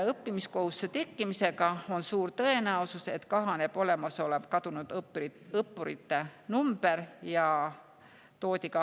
Õppimiskohustuse tekkimisega on suur tõenäosus, et kahaneb kadunud õppurite arv.